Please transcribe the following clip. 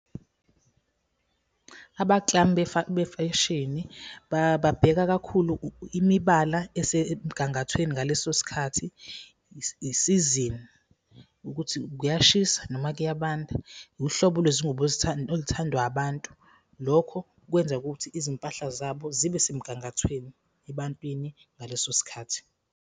Abaklami befeshini babheka kakhulu imibala esemgangathweni ngaleso sikhathi, isizini ukuthi kuyashisa noma kuyabanda, wuhlobo lwezingubo oluthandwa abantu. Lokho kwenza ukuthi izimpahla zabo zibe semgangathweni ebantwini ngaleso sikhathi.